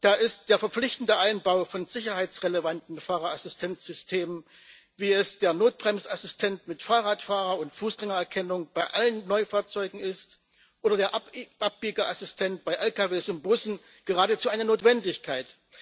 Da ist der verpflichtende Einbau von sicherheitsrelevanten Fahrerassistenzsystemen wie dem Notbremsassistenten mit Fahrradfahrer und Fußgängererkennung bei allen Neufahrzeugen oder dem Abbiegeassistenten bei Lkw und Bussen geradezu eine Notwendigkeit.